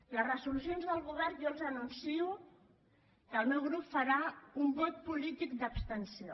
en les resolucions del govern jo els anuncio que el meu grup farà un vot polític d’abstenció